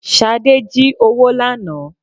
Sade jí owó lànà